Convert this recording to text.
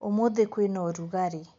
ũmũthĩ kwĩna ũrugarĩ